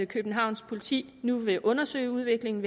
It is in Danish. københavns politi nu vil undersøge udviklingen